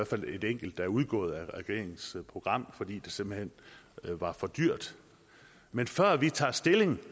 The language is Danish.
fald er et enkelt der er udgået af regeringens program fordi det simpelt hen var for dyrt men før vi tager stilling